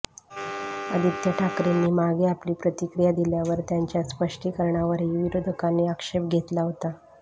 आदित्य ठाकरेंनी मागे आपली प्रतिक्रिया दिल्यावर त्यांच्या स्पष्टीकरणावरही विरोधकांनी आक्षेप घेतला होता